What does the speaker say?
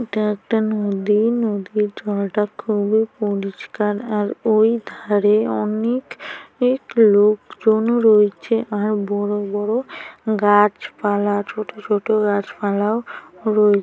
এটা একটা নদী। নদীর জলটা খুবই পরিষ্কার আর ওই ধারে অনেক অনেক লোকজনও রয়েছে আর বড়ো বড়ো গাছ পালা আর ছোট ছোট গাছপালাও রয়েছে।